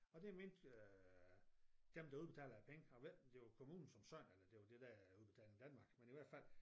Og det mente øh dem der udbetaler penge jeg ved ikke om det varr kommunen som sådan eller om det var det der Udbetaling Danmark men i hvert fald